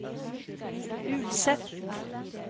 Ulset